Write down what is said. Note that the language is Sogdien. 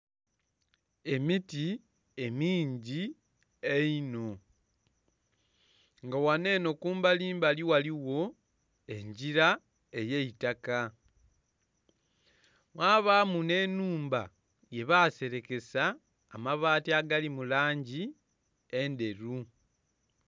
Emiti emingi einho, nga ghano enho kumbalimbali ghaligho engira ey'eitaka. Mwabaamu nh'ennhumba yebaselekesa amabaati agali mu langi endheru.